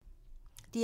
DR2